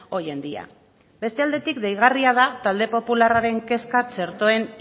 hoy en día beste aldetik deigarri da talde popularraren kezka txertoen